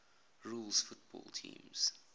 rules football teams